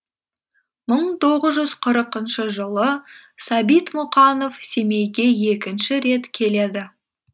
мың тоғыз жүз қырқыншы жылы сәбит мұқанов семейге екінші рет келеді